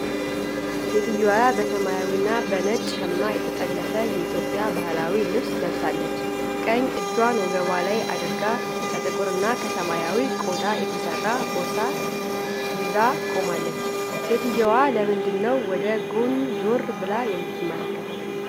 ሴትዮዋ በሰማያዊና በነጭ ሸማ የተጠለፈ የኢትዮጵያ ባህላዊ ልብስ ለብሳለች። ቀኝ እጇን ወገቧ ላይ አድርጋ፣ ከጥቁርና ከሰማያዊ ቆዳ የተሠራ ቦርሳ ይዛ ቆማለች። ሴትዮዋ ለምንድን ነው ወደ ጎን ዞር ብላ የምትመለከተው?